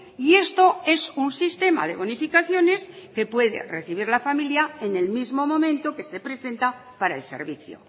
y esto es un sistema de bonificaciones que puede recibir la familia en el mismo momento que se presenta para el servicio